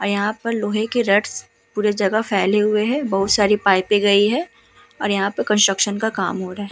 अ यहाँ पर लोहे के रट्स पूरे जगह फैले हुए हे। बहुत सारी पाइपें गयी है और यहाँ पे कंस्ट्रक्शन का काम हो रहा है।